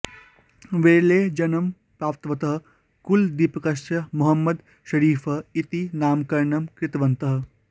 विरले जन्म प्राप्तवतः कुलदीपकस्य मोहम्मद् शरीफः इति नामकरणं कृतवन्तः